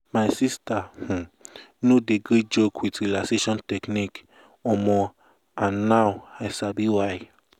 my sister um no dey gree joke with relaxation techniques um and now i sabi why.